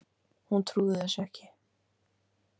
Hún trúði þessu ekki.